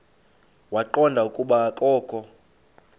waqonda ukuba akokho